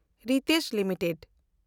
RITES limited